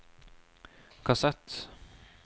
kassett